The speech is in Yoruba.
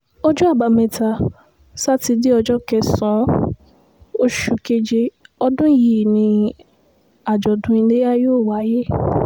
ọjọ́ àbámẹ́ta sátidé ọjọ́ kẹsàn-án oṣù keje ọdún yìí ni àjọ̀dún iléyà yóò wáyé